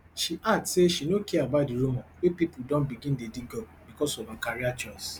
she add say she no care about di rumour wey pipo don begin dey dig up becos of her career choice